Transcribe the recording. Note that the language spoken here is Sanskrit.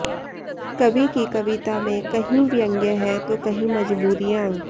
कवि की कविता में कहीं व्यंग्य है तो कहीं मजबूरियां